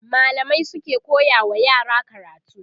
mallamai suke koya wa yara karatu